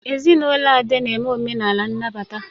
Ezinụlọ Ade na-eme omenala nnabata.